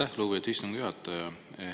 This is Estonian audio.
Aitäh, lugupeetud istungi juhataja!